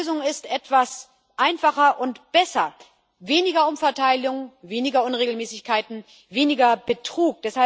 Meine Lösung ist etwas einfacher und besser weniger Umverteilung, weniger Unregelmäßigkeiten, weniger Betrug.